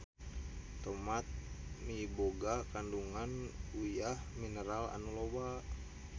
Tomat miboga kandungan uyah mineral anu loba.